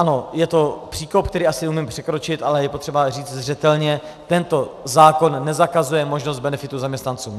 Ano, je to příkop, který asi umím překročit, ale je potřeba říct zřetelně: tento zákon nezakazuje možnost benefitu zaměstnancům.